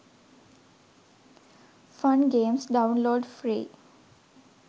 fun games download free